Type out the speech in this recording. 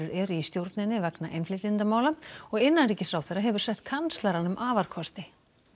eru í stjórninni vegna innflytjendamála innanríkisráðherra hefur sett kanslaranum afarkosti